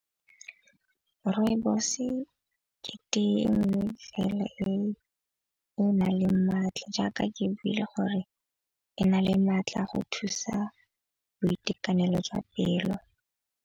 Rooibos-e ke tee nngwe fela e e na leng maatla jaaka ke e buile gore e na le maatla go thusa boitekanelo jwa pelo.